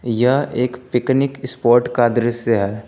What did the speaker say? यह एक picnic spot का दृश्य है।